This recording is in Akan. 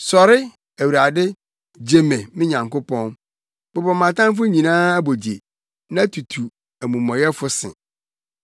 Sɔre, Awurade! Gye me, me Nyankopɔn! Bobɔ mʼatamfo nyinaa abogye; na tutu amumɔyɛfo se.